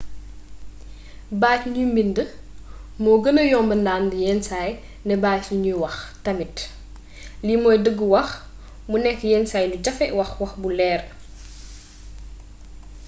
bàat yu ñu mbind moo gëna yomba ndànd yenn saay ne bàat yi ñuy wax tamit lii mooy dëggu wax mu nekk yen saay lu jafee wax wax bu leer